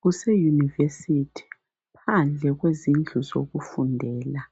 Kuse university phandle kwezindlu zokufundela